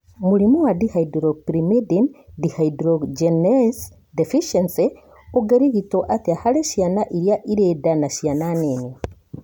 Mũrimũ wa dihydropyrimidine dehydrogenase deficiency ũngĩrigitwo atĩa harĩ ciana irĩa irĩ nda na ciana nini